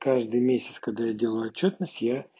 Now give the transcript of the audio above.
каждый месяц когда я делаю отчётность я